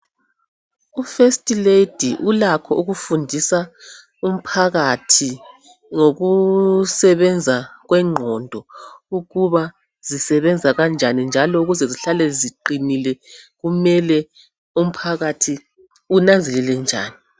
U first lady ulakho ukufundisa umphakathi ngokusebenza kwengqondo ukuba zisebenza kanjani njalo ukuze zihlale ziqinile kumele umphakathi unanzelele njani